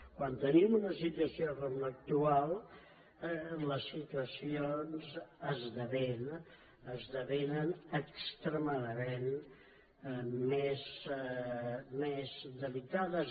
quan tenim una situació com l’actual les situacions esdevenen extremadament més delicades